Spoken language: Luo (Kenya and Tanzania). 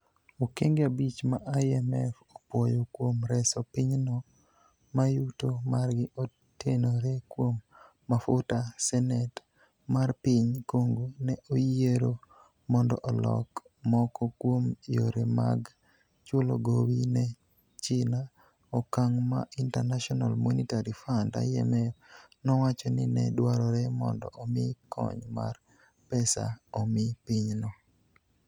Okenge abich ma IMF opuoyo kuom reso pinyno ma yuto margi otenore kuom mafuta Senet mar piny Congo ne oyiero mondo olok moko kuom yore mag chulo gowi ne China, okang ' ma International Monetary Fund-IMF nowacho ni ne dwarore mondo omi kony mar pesa omi pinyno.